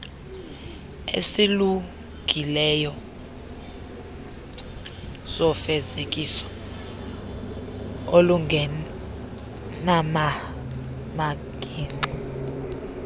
esilungileyo sofezekiso olungenanamagingxi